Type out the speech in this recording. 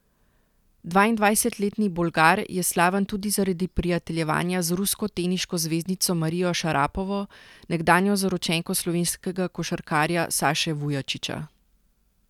Dvaindvajsetletni Bolgar je slaven tudi zaradi prijateljevanja z rusko teniško zvezdnico Marijo Šarapovo, nekdanjo zaročenko slovenskega košarkarja Saše Vujačića.